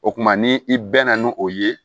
O kumana ni i bɛ na ni o ye